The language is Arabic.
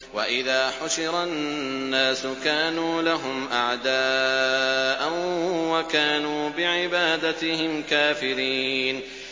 وَإِذَا حُشِرَ النَّاسُ كَانُوا لَهُمْ أَعْدَاءً وَكَانُوا بِعِبَادَتِهِمْ كَافِرِينَ